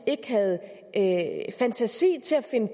ikke havde fantasi til at finde